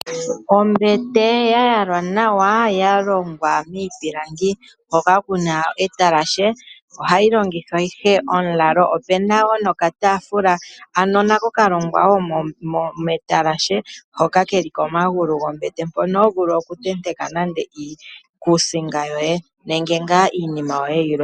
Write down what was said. Ombete ya yalwa nawa yalongwa miipilangi hoka kuna etalashe ohayi lalwa, opena nokatafula kalongwa metalashe hoka keli komagulu gombete mpono hovulu okutenteka iikusinga yoye nenge iinima yoye yimwe.